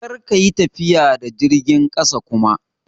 Kar ka yi tafiya da jirgin ƙasa kuma!